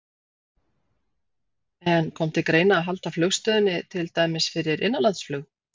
En kom til greina að halda flugstöðinni til dæmis fyrir innanlandsflug?